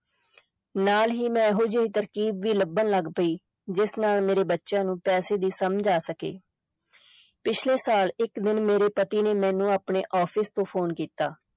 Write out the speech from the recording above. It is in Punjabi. ਨਾਲ ਹੀ ਮੈਂ ਇਹੋ ਜਿਹੀ ਤਰਕੀਬ ਵੀ ਲੱਭਣ ਲਗ ਪਈ ਜਿਸ ਨਾਲ ਮੇਰੇ ਬੱਚਿਆਂ ਨੂੰ ਪੈਸੇ ਦੀ ਸਮਝ ਆ ਸਕੇ ਪਿਛਲੇ ਸਾਲ ਇਕ ਦਿਨ, ਮੇਰੇ ਪਤੀ ਨੇ ਮੈਨੂੰ ਆਪਣੇ office ਤੋਂ phone ਕੀਤਾ।